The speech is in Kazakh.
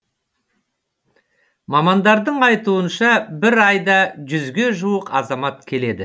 мамандардың айтуынша бір айда жүзге жуық азамат келеді